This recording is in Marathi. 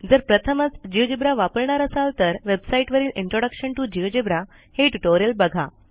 जर प्रथमच जिओजेब्रा वापरणार असाल तर वेबसाईटवरील इंट्रोडक्शन टीओ जिओजेब्रा हे ट्युटोरियल बघा